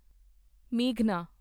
ਮੇਘਨਾ